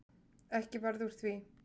Ekki varð úr því.